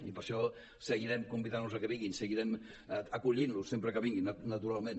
i per això seguirem convidant los que vinguin seguirem acollint los sempre que vinguin naturalment